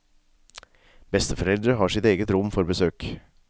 Besteforeldre har sitt eget rom for besøk.